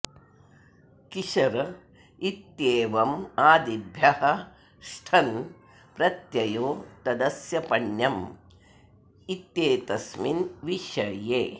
किशर इत्येवम् आदिभ्यः ष्ठन् प्रत्ययो तदस्य पण्यम् इत्येतस्मिन् विषये